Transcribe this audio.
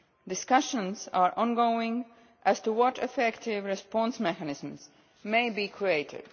Discussions are ongoing as to what effective response mechanisms may be created.